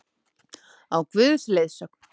Á Guðs leiðsögn!